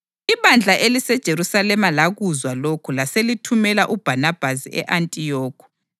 Ibandla eliseJerusalema lakuzwa lokhu laselithumela uBhanabhasi e-Antiyokhi.